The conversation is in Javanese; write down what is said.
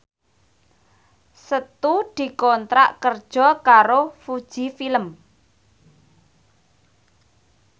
Setu dikontrak kerja karo Fuji Film